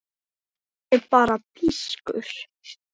Heyri bara pískur.